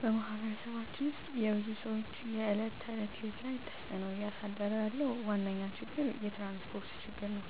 በማህበረሰባችን ውስጥ የብዙ ሰዎች የዕለት ተዕለት ህይወት ላይ ተፅእኖ እያሳደረ ያለው ዋነኛ ችግር የትራንስፖርት ችግር ነው።